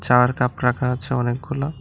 Cup রাখা আছে অনেকগুলো।